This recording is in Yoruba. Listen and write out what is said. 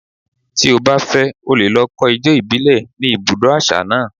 Tí o bá fẹ́, o lè lọ kọ́ ijó ìbílẹ̀ ní ibi ibùdó àṣà náà.